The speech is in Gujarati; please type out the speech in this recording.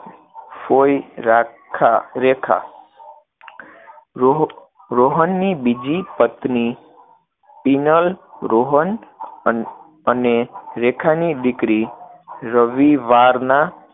ફોઈ રાખા, રેખા, રોહ. રોહનની બીજી પત્ની પીનલ, રોહન અને રેખાની દીકરી રવિવારના